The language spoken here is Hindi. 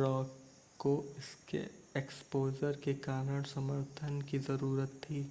रॉक को इसके एक्सपोज़र के कारण समर्थन की ज़रूरत थी